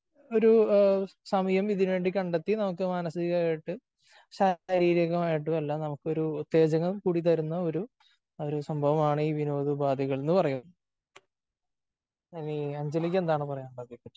ഒരു സമയം ഇതിന് വേണ്ടി കണ്ടെത്തി നമുക്ക് മാനസികമായിട്ടും ശാരീരികമായിട്ടും എല്ലാം നമുക്ക് ഒരു ഉത്തേജകം കൂടി തരുന്ന ഒരു സംഭവമാണ് ഈ വിനോദ ഉപാധികൾ എന്ന് പറയുന്നത്.അഞ്ജലിക്ക് എന്താണ് പറയാനുള്ളത്?